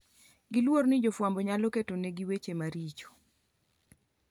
giluor ni jofwambo nyalo ketonegi weche maricho